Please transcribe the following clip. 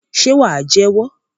Ṣe wà jẹ́wọ́?